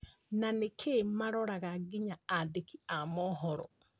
Na nĩkĩĩ maroraga nginya andĩki a mohoro ?